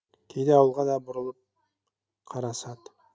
кейде ауылға да бұрылып қарасады